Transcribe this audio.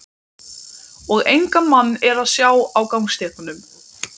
Og engan mann er að sjá á gangstéttunum.